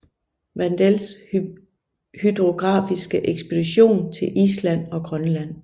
Wandels hydrografiske ekspedition til Island og Grønland